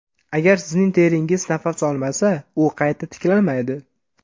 Agar sizning teringiz nafas olmasa u qayta tiklanmaydi.